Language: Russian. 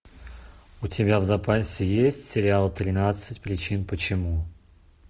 у тебя в запасе есть сериал тринадцать причин почему